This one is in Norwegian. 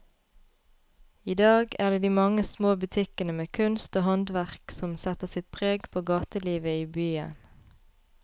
I dag er det de mange små butikkene med kunst og håndverk som setter sitt preg på gatelivet i byen.